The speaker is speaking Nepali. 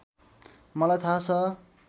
मलाई थाह छ